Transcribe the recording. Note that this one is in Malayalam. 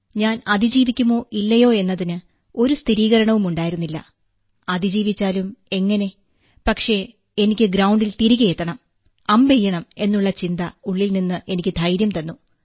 ഞാൻ അതിജീവിക്കുമോ ഇല്ലയോ എന്നതിന് ഒരു സ്ഥിരീകരണവും ഉണ്ടായിരുന്നില്ല അതിജീവിച്ചാലും എങ്ങനെ പക്ഷേ എനിക്ക് ഗ്രൌണ്ടിൽ തിരികെ എത്തണം അമ്പെയ്യണം എന്നുള്ള ചിന്ത ഉള്ളിൽനിന്ന് എനിക്ക് ധൈര്യം തന്നു